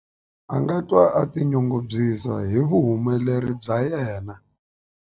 A nga twa a tinyungubyisa hi vuhumeleri bya yena.